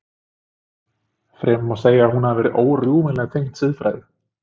Fremur má segja að hún hafi verið órjúfanlega tengd siðfræði.